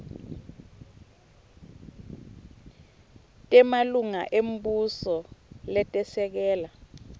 temalunga embuso letesekela